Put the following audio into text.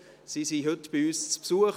Sie sind heute bei uns zu Besuch.